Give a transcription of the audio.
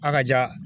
A ka ja